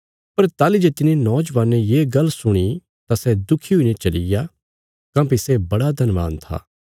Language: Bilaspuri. पर ताहली जे तिने नौजवाने ये गल्ल सुणी तां सै दुखी हुईने चलिग्या काँह्भई सै बड़ा धनवान था